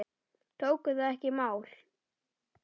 Tóku það ekki í mál.